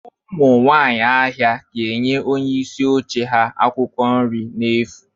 Ụmụ nwaanyị ahịa ga-enye onye isi oche ha akwụkwọ nri n'efu.